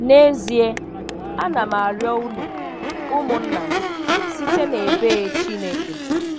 N'ezịe, a na m arịọ unu, ụmụnna m, site n'ebee Chineke